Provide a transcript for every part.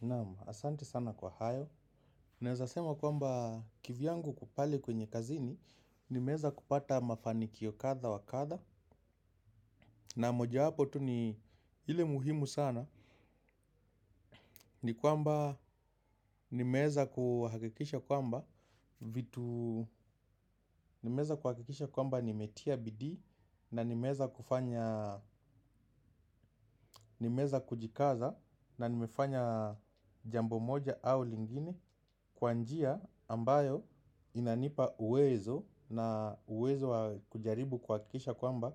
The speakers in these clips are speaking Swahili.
Naam, asante sana kwa hayo. Naeza sema kwamba kivyangu kupali kwenye kazini. Nimeeza kupata mafanikio katha wa katha. Na moja wapo tu ni ile muhimu sana. Ni kuamba nimeeza kuhakikisha kwamba vitu nimeeza kuhakikisha kwamba nimetia bidii. Na nimeeza kujikaza. Na nimefanya jambo moja au lingine. Kwa njia ambayo inanipa uwezo. Na uwezo wa kujaribu kuhakisha kwamba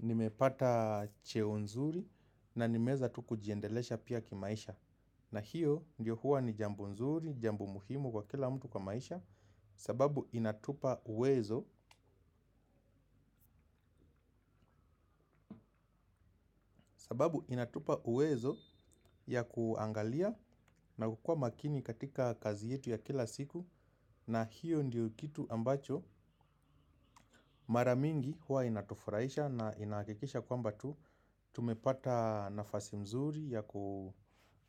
nimepata cheo nzuri. Na nimeeza tu kujiendelesha pia kimaisha. Na hiyo ndio huwa ni jambo nzuri, jambo muhimu kwa kila mtu kwa maisha. Sababu inatupa uwezo. Sababu inatupa uwezo ya kuangalia na kukua makini katika kazi yetu ya kila siku. Na hiyo ndio kitu ambacho maramingi huwa inatufuraisha na inahikikisha kwamba tu tumepata nafasi mzuri,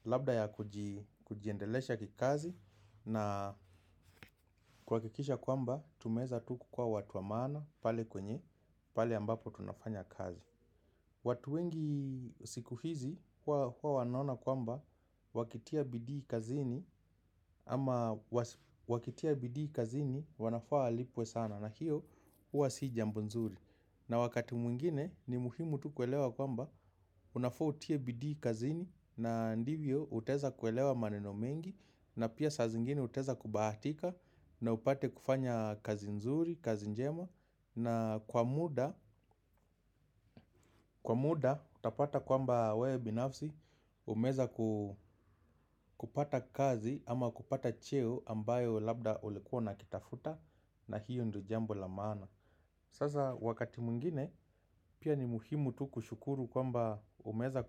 labda ya kujiendelesha kikazi. Na kuhakikisha kwamba, tumeeza tu kukuwa watu wa maana, pale kwenye, pale ambapo tunafanya kazi. Watu wengi sikuhizi, huwa wanaona kwamba, wakitia bidii kazini. Ama wakitia bidii kazini, wanafaa walipwe sana, na hiyo huwa si jambo nzuri. Na wakati mwingine ni muhimu tu kuelewa kwamba unafaa utie bidii kazini na ndivyo uteza kuelewa maneno mengi na pia saa zingine uteza kubaatika na upate kufanya kazi nzuri, kazi njema na kwa muda utapata kwamba we binafsi umeeza kupata kazi ama kupata cheo ambayo labda ulikuwa unakitafuta na hiyo ndo jambo la maana. Sasa wakati mwingine pia ni muhimu tu kushukuru kwamba umeeza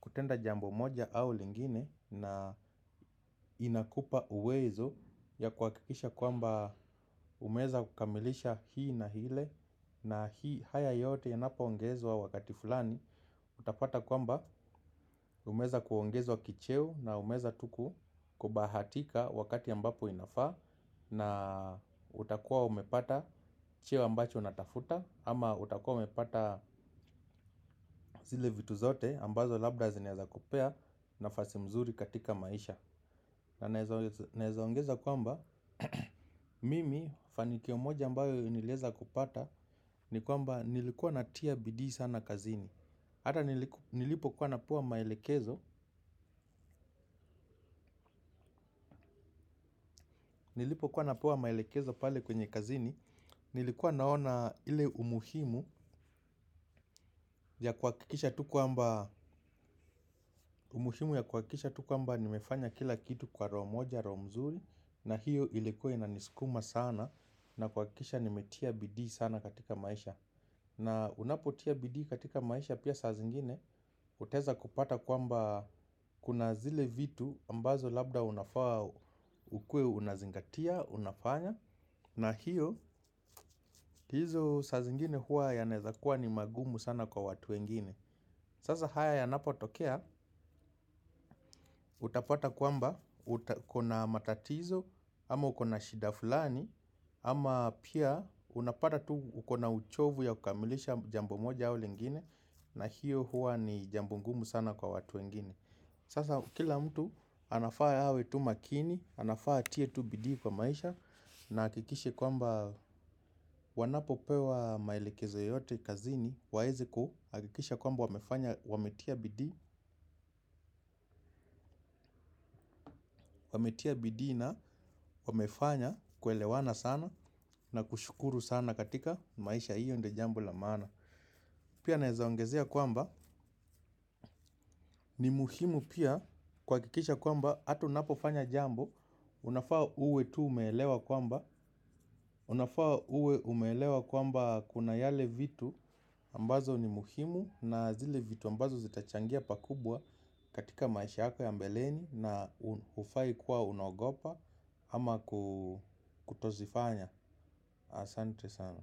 kutenda jambo moja au lingine na inakupa uwezo ya kuhakikisha kwamba umeeza kukamilisha hii na hile na hii haya yote yanapo ongezwa wakati fulani. Utapata kwamba umeeza kuongezwa kicheo na umeeza tu kubahatika wakati ambapo inafaa Na utakua umepata cheo ambacho unatafuta ama utakua umepata zile vitu zote ambazo labda zinaeza kupea nafasi mzuri katika maisha Na naeza ongeza kwamba mimi fanikio moja ambayo nilieza kupata ni kwamba nilikuwa natia bidii sana kazini. Hata nilipo kuwa napuwa maelekezo, nilipo kuwa napuwa maelekezo pale kwenye kazini, nilikuwa naona ile umuhimu ya kuhakisha tu kuamba, umuhimu ya kuwakisha tu kuamba nimefanya kila kitu kwa roo moja, roo mzuri, na hiyo ilikuwa inaniskuma sana, na kuwakisha nimetia bidii sana katika maisha. Na unapotia bidii katika maisha pia saa zingine, uteza kupata kwamba kuna zile vitu ambazo labda unafaa ukue unazingatia, unafanya. Na hiyo, ndizo saa zingine huwa yanaeza kuwa ni magumu sana kwa watu wengine. Sasa haya yanapotokea, utapata kwamba, ukona matatizo, ama ukona shida fulani, ama pia unapata tu ukona uchovu ya kukamilisha jambo moja au lingine. Na hiyo huwa ni jambo ngumu sana kwa watu wengine. Sasa kila mtu anafaa yawe tu makini. Anafaa atie tu bidii kwa maisha. Na akikishi kwamba wanapo pewa maelekezo yote kazini waeze kuhakikisha kwamba wamefanya wametia bidii. Wametia bidii na wamefanya kuelewana sana. Na kushukuru sana katika maisha hiyo ndo jambo la maana. Pia naeza ongezea kwamba ni muhimu pia kuwakikisha kwamba hata unapofanya jambo unafaa uwe tu umeelewa kwamba umelewa kwamba kuna yale vitu ambazo ni muhimu. Na zile vitu ambazo zita changia pakubwa katika maisha yako ya mbeleni. Na hufai kuwa unaogopa ama kutozifanya. Asante sana.